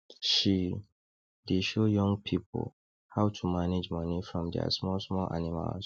she dey show young pipo how to manage money from dia small small animals